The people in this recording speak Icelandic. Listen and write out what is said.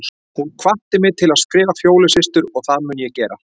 Hún hvatti mig til að skrifa Fjólu systur og það mun ég gera.